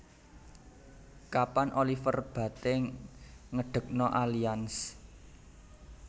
Kapan Oliver Bate ngedekno Allianz